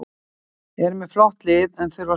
Eru með flott lið en þurfa að skora meira.